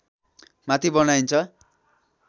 माथि बनाइन्छ